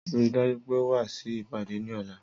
Rii daju pe o wa si ipade ni ọla